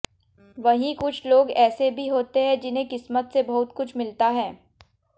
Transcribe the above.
वहीं कुछ लोग ऐसे भी होते हैं जिन्हें किस्मत से बहुत कुछ मिलता है